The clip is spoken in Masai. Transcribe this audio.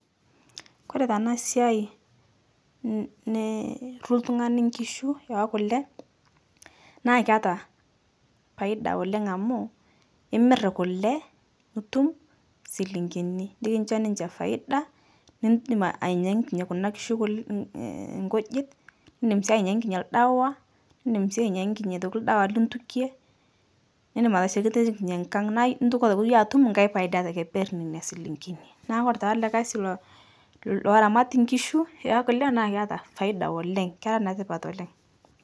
Kore tana siai nni nirru ltung'ani nkishu ekule, naa keata paida oleng' amu, imir kule nitum silinkini nikijo ninche faida nidim ainyakine kuna nkishu kulnni nkujit, nidim sii ainyangine ldawa, idim sii ainyakine atoki ldawa lituke, nidim ateshetekinye nkang' naa itoki atoki iyie atum nkae paida tekeperr neinia silinkini. Naa kore taa ale kasi lo loramati nkishu ekule naa keata faida oleng' kera netipat oleng'.